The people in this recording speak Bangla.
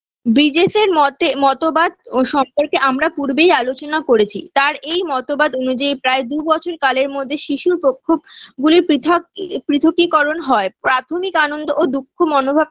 BGS -এর মতে মতবাদ ও সম্পর্কে আমরা পূর্বেই আলোচনা করেছি তার এই মতবাদ অনুযায়ী প্রায় দুবছর কালের মধ্যে শিশুর প্রক্ষোভ গুলির পৃথক এ পৃথকীকরণ হয় প্রাথমিক আনন্দ ও দুঃখ মনোভাব